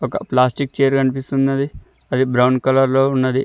క plastic chair కనిపిస్తున్నది అది బ్రౌన్ కలర్ లో ఉన్నది.